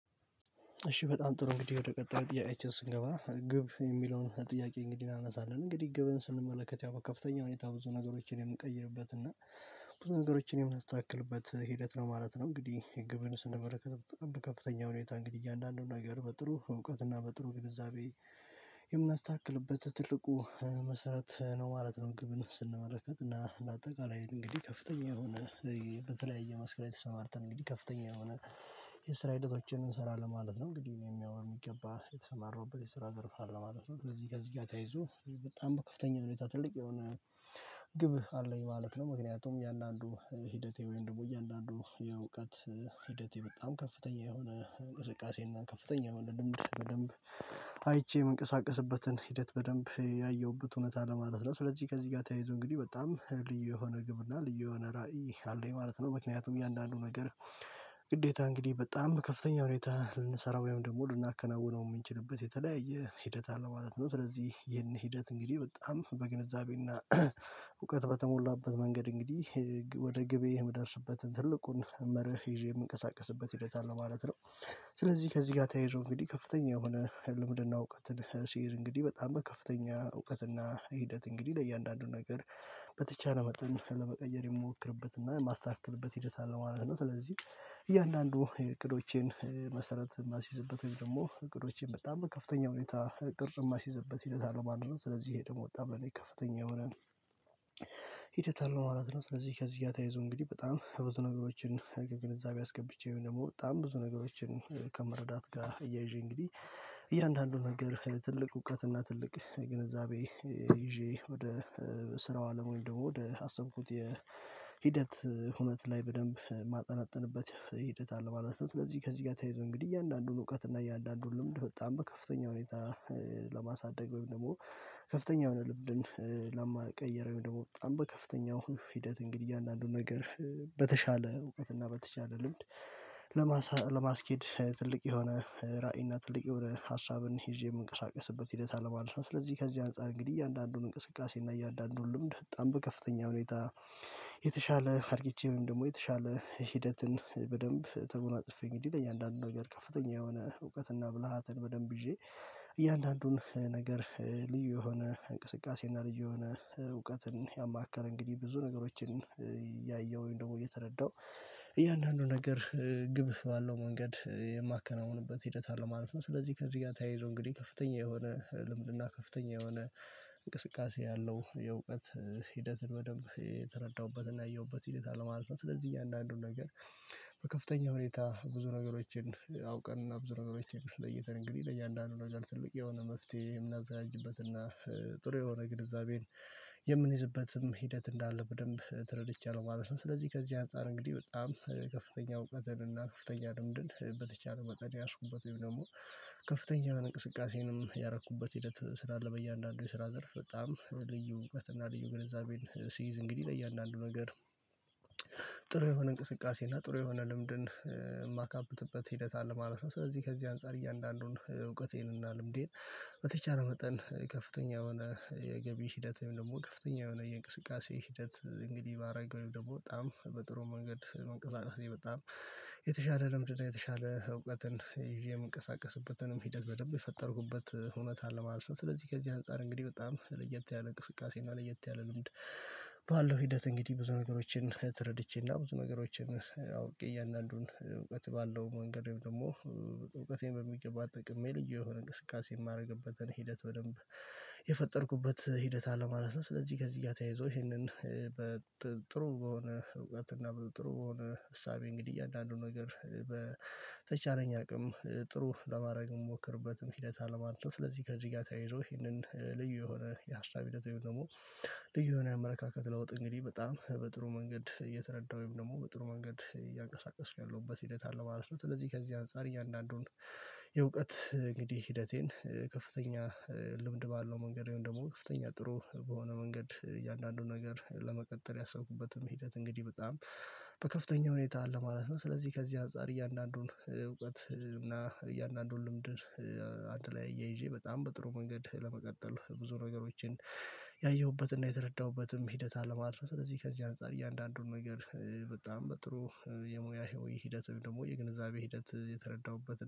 እሺ በጣም ጥሩ እንግዲህ ወደ ቀጣዩ ጥያቄያችን ስንገባ ግብ የሚለውን ጥያቄ እንግዲህ እናነሳለን እንግዲህ ግብን ስንመለከት ያው ከፍተኛ ሁኔታ ብዙ ነገሮችን የምቀይርበት እና ብዙ ነገሮችን የምናስተካክልበት ሂደት ነው ማለት ነው። እንግዲህ ግብን ስንመለከት በጣም ከፍተኛ ሁኔታ እንግዲህ አንዳንዱን ነገር በጥሩ እውቀትና እና በጥሩ ግንዛቤ የምናስተካክልበት ትልቁ መሰረት ነው ማለት ነው። ግብን ስንመለከት እና ለአጠቃላይ እንግዲህ ከፍተኛ የሆነ በተለያየ መስክ ላይ ተሰማርተን እንግዲህ ከፍተኛ የሆነ የስራ ሂደቶችን እንሰራለን ማለት ነው። እንግዲህ እነም ያው በሚገባ የተሰማራውበት የስራ ዘርፍ አለ ማለት ነው ስለዚህ ከዚህ ጋር ተያይዞ በጣም ከፍተኛ ነው ትልቅ የሆነ ግብ አለኝ ማለት ነው። ምክንያቱም እያንዳንዱ ሂደቴ ደግሞ እያንዳንዱ የእውቀት ሂደቴ በጣም ከፍተኛ የሆነ እንቅስቃሴና ከፍተኛ የሆነ ልምድ በደንብ አይቼ የምንቀሳቀስበትን ሂደት በደንብ ያየሁበት እውነት ለማለት ነው። ስለዚህ ከዚህ ጋር ተያይዞ እንግዲህ በጣም ልዩ የሆነ ግብ እና ልዩ የሆነ ራዕይ አለኝ ማለት ነው። ምክንያቱም እያንዳንዱ ነገር ግዴታ እንግዲህ በጣም በከፍተኛ ሁኔታ ልንሰራው ወይም ደግሞ ልናከናውነው የምንችልበት የተለያየ ሂደት አለ ማለት ነው። ስለዚህ ይሄን ሂደት እንግዲህ በጣም በግንዛቤና እውቀት በተሞላበት መንገድ እንግዲህ ወደ ግቤ የምደርስበትን ትልቁን መርህ ይዤ የምንቀሳቀስበት ሂደት አለ ማለት ነው። ስለዚህ ከዚህ ጋር ተያይዞ እንግዲህ ከፍተኛ የሆነ ልምድና እውቀትን ስይዝ እንግዲህ በጣም በከፍተኛ እውቀትና ሂደት እንግዲህ ለእያንዳንዱ ነገር በተቻለ መጠን ለመቀየር ይሞክርበትና ማስተካከልበት ሂደት አለ ማለት ነው። ስለዚህ እያንዳንዱ እቅዶቼን መሰረት የማስይዝበት ወይም ደግሞ እቅዶቼን በጣም በከፍተኛ ሁኔታ ቅርጽም የማስይዘበት ሂደት አለው ማለት ነው። ስለዚህ ይሄ ደግሞ ወጣ ብለን ከፍተኛ የሆነ ሂደት አለው ማለት ነው። ስለዚህ ከዚህ ተያይዘው እንግዲህ በጣም ብዙ ነገሮችን ግንዛቤ አስገብቼ ወይም ደግሞ በጣም ብዙ ነገሮችን ከመረዳት ጋር እያይዤ እንግዲህ እያንዳንዱ ነገር ትልቅ እውቀትና ትልቅ ግንዛቤ ይዤ ወደ ስራው አለም ወይ ደግሞ ወደ አሰብኩት የሂደት ሁነት ላይ በደንብ ማጠናጠንበት ሂደት አለ ማለት ነው። ስለዚህ ከዚህ ጋር ተይዞ እንግዲህ እያንዳንዱን እውቀት እና እያንዳንዱን ልምድ በጣም በከፍተኛ ሁኔታ ለማሳደግ ወይም ደግሞ ከፍተኛ የልምድን ለመቀየር ደግሞ በጣም በከፍተኛ ሂደት እንግዲህ አንዳንዱ ነገር በተሻለ እውቀት እና በተሻለ ልምድ ለማስኬድ ትልቅ የሆነ ራዕይና ትልቅ የሆነ ሀሳብን ይዤ የምንቀሳቀስበት ሂደት አለማለት ነው። ስለዚህ ከዚህ አንፃር እንግዲህ እያንዳንዱን እንቅስቃሴ እና እያንዳንዱን ልምድ በጣም በከፍተኛ ሁኔታ የተሻለ አድርጊቼ ወይም ደግሞ የተሻለ ሂደትን በደንብ ተጎናጽፌ እንግዲ ለእያንዳንዱ ነገር ከፍተኛ የሆነ እውቀትና ብልሃትን በደንብ ይዤ እያንዳንዱን ነገር ልዩ የሆነ እንቅስቃሴ እና ልዩ የሆነ እውቀትን ያማከለ እንግዲህ ብዙ ነገሮችን ያየሁኝ ደግሞ እየተረዳው እያንዳንዱ ነገር ግብ ባለው መንገድ ሂደት አለማለፍ ነው። ስለዚህ ከዚህ ጋር ተያይዞ እንግዲህ ከፍተኛ የሆነ ልምድና ከፍተኛ የሆነ እንቅስቃሴ ያለው የእውቀት ሂደትን በደንብ የተረዳሁበትና ያየሁበት ሂደት አለማለት ነው። ስለዚህ እኛ አንዳንዱን ነገር በከፍተኛ ሁኔታ ብዙ ነገሮችን አውቀን እና ብዙ ነገሮችን ለይተን እንግዲህ ለእያንዳንዱ ነገር ትልቅ የሆነ መፍትሄ የምናበዘጅበትና ጥሩ የሆነ ግንዛቤን የምንይዝበትም ሂደት እንዳለ በደንብ ተረድቻለሁ ማለት ነው። ስለዚህ ከዚህ አንፃር እንግዲህ በጣም ከፍተኛ እውቀትን እና ከፍተኛ ልምድን በተቻለ መጠን የያዝኩበት ወይም ደግሞ ከፍተኛ እንቅስቃሴንም ያረኩበት ሂደት ስላለ በእያንዳንዱ የስራ ዘርፍ በጣም በልዩ እውቀትና ልዩ ግንዛቤን ሲይዝ እንግዲህ ለእያንዳንዱ ነገር ጥሩ የሆነ እንቅስቃሴ እና ጥሩ የሆነ ልምድን የማካብትበት ሂደት አለ ማለት ነው። ስለዚህ ከዚህ አንፃር እያንዳንዱን እውቀቴን እና ልምዴን በተቻለ መጠን ከፍተኛ የሆነ የገቢ ሂደት ወይም ደግሞ ከፍተኛ የሆነ የእንቅስቃሴ ሂደት እንግዲህ ባረገው ደግሞ በጣም በጥሩ መንገድ መንቀሳቀስ በጣም የተሻለ ልምድ የተሻለ እውቀትን ይዤ የምንቀሳቀስበትንም ሂደት በደንብ የፈጠርኩበት እውነት አለ ማለት ነው። ስለዚህ ከዚህ አንፃር እንግዲህ በጣም ለየት ያለ እንቅስቃሴ እና ለየት ያለ ልምድ ባለው ሂደት እንግዲህ ብዙ ነገሮችን ተረድቼና ብዙ ነገሮችን አውቄ እያንዳንዱን እውቀት ባለው መንገድ ደግሞ እውቀቴን በሚገባ ተጠቅሜ ልዩ የሆነ እንቅስቃሴ የማደርግበትን ሂደት በደንብ የፈጠርኩበት ሂደት አለ ማለት ነው። ስለዚህ ከዚህ ጋር ተያይዞ ይሄንን ጥሩ በሆነ እውቀት እና በጥሩ በሆነ እሳቤ እንግዲህ እያንዳንዱን ነገር በተቻለኝ አቅም ጥሩ ለማድረግ እምሞክርበትም ሂደት አለማለት ነው። ስለዚህ ከዚህ ጋር ተያይዞ ይሄንን ልዩ የሆነ የሀሳብ ሂደት ወይም ደግሞ ልዩ የሆነ የአመለካከት ለውጥ እንግዲህ በጣም በጥሩ መንገድ እየተረዳሁኝ ወይም ደግሞ በጥሩ መንገድ እያንቀሳቀስኩ ያለሁበት ሂደት አለ ማለት ነው። ስለዚህ ከዚህ አንፃር እያንዳንዱን የእውቀት እንግዲህ ሂደቴን ከፍተኛ ልምድ ባለው መንገድ ደግሞ ከፍተኛ ጥሩ በሆነ መንገድ እያንዳንዱን ነገር ለመቀጠል ያሰብኩበትም ሂደት እንግዲህ በጣም በከፍተኛ ሁኔታ አለ ማለት ነው። ስለዚህ ከዚህ አንፃር እያንዳንዱን እውቀት እና እያንዳንዱን ልምድ አንድ ላይ እያይዤ በጣም በጥሩ መንገድ ለመቀጠል ብዙ ነገሮችን ያየሁበትና የተረዳሁበትም ሂደት አለማለት ስለዚህ ከዚህ አንፃር እያንዳንዱን ነገር በጣም በጥሩ የሙያ ህይወት ደግሞ የግንዛቤ ሂደት የተረዳሁበት ነው